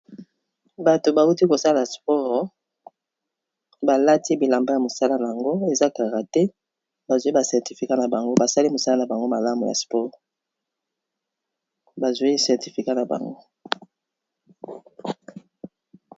Batu ba wuti ko sala sport ba lati bilamba ya mosala n'ango, eza karaté, ba zwi ba certificats na bango, ba sali mosala n'a bango malamu ya sport, ba zwi certificats na bango.